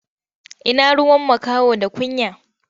Ina ruwan makaho da kunya?